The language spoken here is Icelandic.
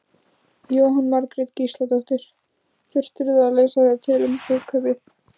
Jóhanna Margrét Gísladóttir: Þurftirðu að lesa þér til um brúðkaupið?